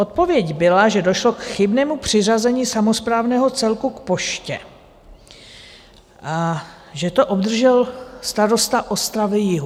Odpověď byla, že došlo k chybnému přiřazení samosprávného celku k poště a že to obdržel starosta Ostravy-Jihu.